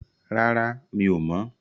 Rárá, mi ò mọ̀.